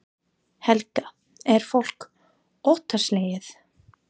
Helga: Er fólk óttaslegið?